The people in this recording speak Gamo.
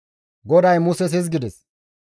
GODAY Muses hizgides,